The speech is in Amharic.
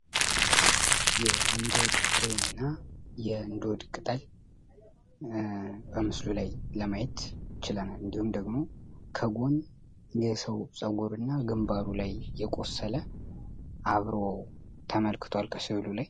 የእንዶድ ፍሬ እና የእንዶድ ቅጠል በምስሉ ላይ ለማየት ችለናል። እንዲሁም ደግሞ ከጎን የሰው ጸጉር እና ግንባሩ ላይ የቆሰለ አብሮ ተመልክቷል ከስዕሉ ላይ።